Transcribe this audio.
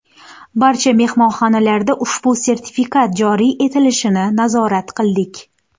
Barcha mehmonxonalarda ushbu sertifikat joriy etilishini nazorat qildik.